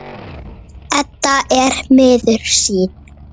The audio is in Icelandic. Edda er miður sín.